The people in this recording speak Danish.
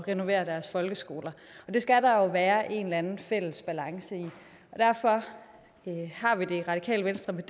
renovere deres folkeskoler det skal der være en eller anden fælles balance i derfor har vi det i radikale venstre med